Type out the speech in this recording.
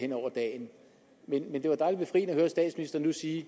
nu at høre statsministeren sige